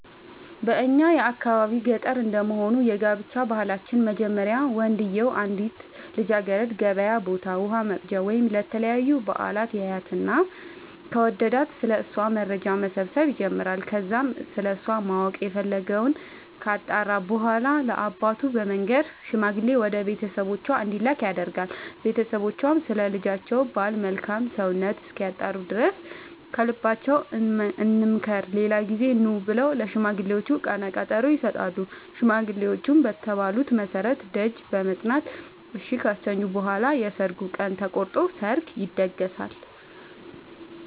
በእኛ የአካባቢ ገጠር እንደመሆኑ የጋብቻ ባህላችን መጀመሪያ ወንድዬው አንዲትን ልጃገረድ ገበያ ቦታ ውሃ ወቅጃ ወይም ለተለያዩ በአላት ያያትና ከወደዳት ስለ እሷ መረጃ መሰብሰብ ይጀምራይ ከዛም ስለሷ ማወቅ የፈለገወን ካጣራ በኋላ ለአባቱ በመንገር ሽማግሌ ወደ ቤተሰቦቿ እንዲላክ ያደርጋል ቦተሰቦቿም ስለ ልጃቸው ባል መልካም ሰውነት እስኪያጣሩ ድረስ ከልባችን እንምከር ሌላ ጊዜ ኑ ብለው ለሽማግሌዎቹ ቀነቀጠሮ ይሰጣሉ ሽማግሌዎቹም በተባሉት መሠረት ደጅ በመፅና እሺ ካሰኙ በኋላ የሰርግ ቀን ተቆርጦ ሰርግ ይደገሳል።